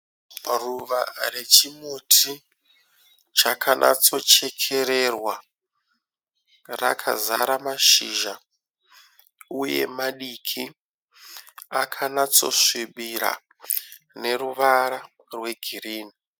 Ruva rechimuti chakanyatso chekererwa. Rakazara mashizha uye madiki akanatso svibira neruvara rwe girinhi.